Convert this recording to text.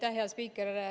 Aitäh, hea spiiker!